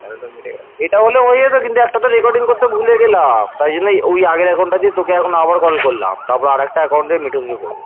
এইটা হলে হয়ে যেত কিন্তু একটা তো recording করতে ভুলে গেলাম তার জন্য ওই আগের account তোকে আবার এখন call করলাম। তারপর একটা account নিয়ে মিঠুনকে করব